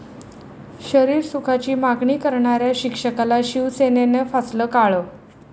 शरीरसुखाची मागणी करणाऱ्या शिक्षकाला शिवसेनेनं फासलं काळं